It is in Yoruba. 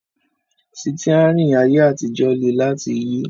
Sítíárìn ayé àtijọ́ le láti yí